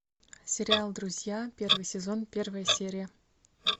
сериал друзья первый сезон первая серия